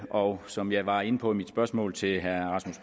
og som jeg var inde på i mit spørgsmål til herre rasmus